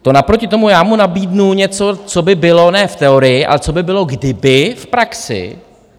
To naproti tomu já mu nabídnu něco, co by bylo ne v teorii, ale co by bylo, kdyby v praxi.